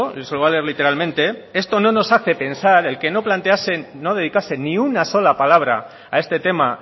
y se lo voy a leer literalmente no nos hace pensar el que no dedicasen ni una sola palabra a este tema